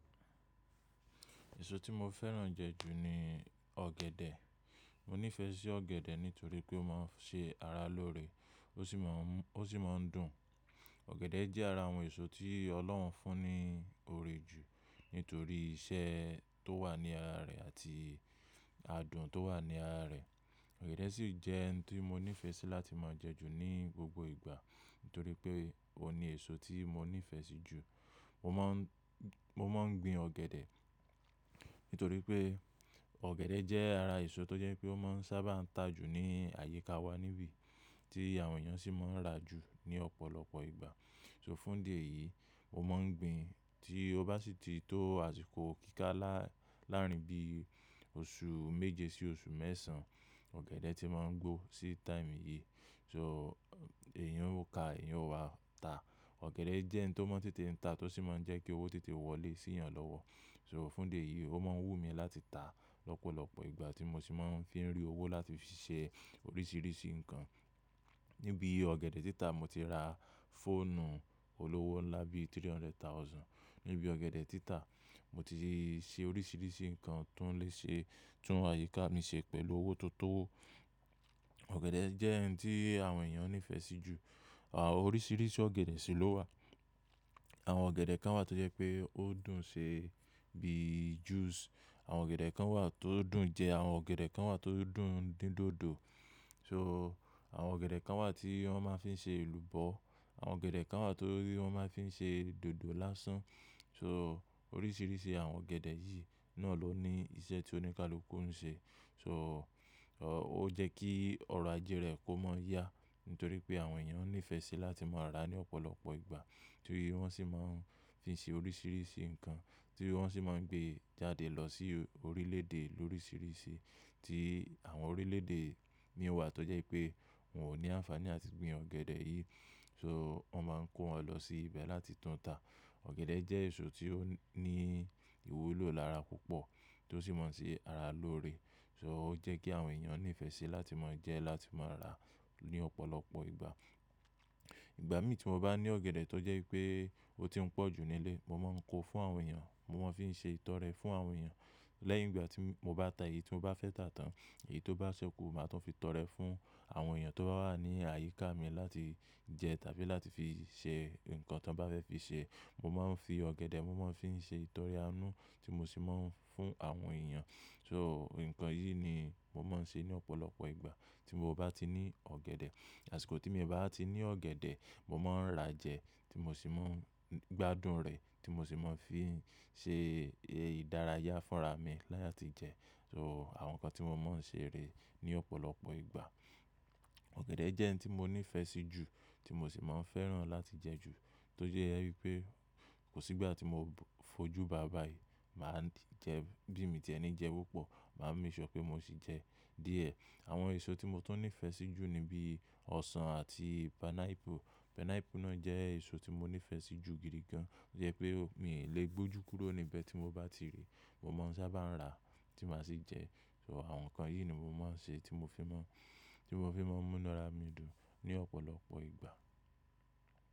Èso tí mo fẹ́ràn jẹ ju ni ọ̀gẹ̀dẹ̀. Mo nífẹsí ọ̀gẹ̀dẹ̀ nítorí pé ó máa ń ṣe ara lóore, ó sì máa ń dùn. Ọ̀gẹ̀dẹ̀ jẹ́ ara àwọn èso tí Ọlọ́hun fún ní oore jù nítorí iṣẹ́ tó wà ní ara rẹ̀ àti adùn ti ó wà ní ara rẹ̀. Ọ̀gẹ̀dẹ̀ sì jẹ́ ohun tí mo nífẹ̀ sí láti máa jẹ ju ní gbogbo ìgbà nítorí pé óun ni èso tí mo nífẹ̀ẹ́ sí jù. Mo máa ń gbin ọ̀gẹ̀dẹ̀ nítorí pé ọ̀gẹ̀dẹ̀ jẹ́ ara èso tó jẹ́ pé ó máa ń sábà ta jù ní àyíká wa níbí tí àwọn èèyàn sì máa ń rà jù ní ọ̀pọ̀lọpọ̀ ìgbà. So fún idí ẹ̀yìí, mo máa ń gbin tí ó bá sì ti tó àsìkò kíkà lárin bí oṣù méje sí oṣù mẹ́sàn-án, ọ̀gẹ̀dẹ̀ ti máa ń gbó sí táìmu yìí. So èyan ò ká, èyan ò wa ta. Ọ̀gẹ̀dẹ̀ jẹ́ ohun ti ó máa ń tètè ta tó sì máa ń jẹ́ kí owó tètè wọlé sí èèyàn lọ́wọ́. So fún idí ẹ̀yìí, ó máa ń wù mí láti ta lọ́pọ̀lọpọ̀ ìgbà tí mo sì máa ń fi ń rí owó láti fi ṣe oríṣiríṣi nǹkan. Níbi ọ̀gẹ̀dẹ̀ títà mo ti ra fóònù olówó ńlá bí three hundred thousand. Níbi ọ̀gẹ̀dẹ̀ títà mo ti ṣe oríṣiríṣi nǹkan tó ń léṣe, tún àyíká mi ṣe pẹ̀lú owó tó tó owó. Ọ̀gẹ̀dẹ̀ jẹ́ ohun tí àwọn èèyàn nífẹ̀ẹ́ sí jù. Àwọn oríṣiríṣi ọ̀gẹ̀dẹ̀ sì ló wà. Àwọn ọ̀gẹ̀dẹ̀ kan wà tó jẹ́ pé ó dùn ṣe bíi juice. Àwọn ọ̀gẹ̀dẹ̀ kan wà tó dùn jẹ. Àwọn ọ̀gẹ̀dẹ̀ kan wà tó dùn dín dòdò. So àwọn ọ̀gẹ̀dẹ̀ kan wà tí wọ́n máa ń fi ṣe èlùbọ́. Àwọn ọ̀gẹ̀dẹ̀ kan wà tí wọ́n máa fi n ṣe dòdò lásán. So oríṣiríṣi àwọn ọ̀gẹ̀dẹ̀ yìí náà ló ní iṣẹ́ tí oníkálukú ń ṣe. So ó jẹ́ kí ọrọ̀ ajé rẹ̀ kó máa yá nítorí pé àwọn èèyàn nífẹ̀ẹ́ sí láti máa rà á ní ọ̀pọ̀lọpọ̀ ìgbà. Torí wọ́n sì máa ń fi n ṣe oríṣiríṣi nǹkan, tii wọ́n sì máa ń gbé e jáde lọ sí orílẹ̀-èdè lóriṣiríṣi tí àwọn orílẹ̀-èdè mìíràn wà tó jẹ́ pé wọn ò ní àǹfààní àti gbin ọ̀gẹ̀dẹ̀ yìí so wọ́n máa ń kó wọn lọ sí ibẹ̀ láti tún ta. Ọ̀gẹ̀dẹ̀ jẹ́ èso tí ó ní ìwúlò lára púpọ̀ tó sì máa ń ṣe ara lóore. So, ó jẹ́ kí àwọn èèyàn nífẹ̀ẹ́ sí láti máa jẹ ẹ́, láti máa rà á ní ọ̀pọ̀lọpọ̀ ìgbà. Ìgbà mí tí mo bá ní ọ̀gẹ̀dẹ̀ tó jẹ́ pé ó ti ń pọ̀ jù nílé, mo máa ń kó fún àwọn èèyàn, mo máa ń fi ṣe ìtọrẹ fún àwọn èèyàn. Lẹ́yìn ìgbà tí mo bá ta èyí tí mo bá fẹ́ tà tán, èyí tó bá ṣẹ́kù, màá tún fi tọrẹ fún àwọn èèyàn tó bá wà ní àyíká mi láti jẹ tàbí láti fi ṣe nǹkan tí wọ́n bá fẹ́ fi ṣe. Mo máa ń fi ọ̀gẹ̀dẹ̀, mo máa ń fi ṣe ìtọrẹ-anú tí mo sì máa ń fún àwọn èèyàn. So nǹkan yìí ni mo máa ń ṣe ní ọ̀pọ̀lọpọ̀ ìgbà tí mo bá ti ní ọ̀gẹ̀dẹ̀. Àsìkò tí mio bá ti ní ọ̀gẹ̀dẹ̀, mo máa ń rà jẹ tí mo sì máa ń gbádùn rẹ̀ tí mo sì máa ń fi ṣe ìdárayá fúnra mi láti jẹ. So àwọn nǹkan tí mo máa ń ṣe rèé ní ọ̀pọ̀lọpọ̀ ìgbà. Ọ̀gẹ̀dẹ̀ jẹ́ ohun tí mo nífẹ̀ẹ́ sí jù tí mo sì máa ń fẹ́ràn láti jẹ ju, tó jẹ́ wí pé kò sí ìgbà tí mo fojú bàá bàì máa jẹ ẹ́ bí mi tí ẹ ni jẹ pupọ̀, màá make sure pé mo sì jẹ ẹ́ díẹ̀. Àwọn èso tí mo tún nífẹ̀ẹ́ sí jù ni bí ọsàn àti pineapple. Pineapple náà jẹ́ èso tí mo nífẹ̀ẹ́ sí jù gidi gan. Ó jẹ́ pé min lè gbójú kúrò níbẹ̀ tí mo bá ti ríi. Mo máa ń sábà rà á tí màá sì jẹ ẹ́. So àwọn nǹkan yìí ni mo máa ń ṣe tí mo fi máa ń múnu ara mi dùn ní ọ̀pọ̀lọpọ̀ ìgbà.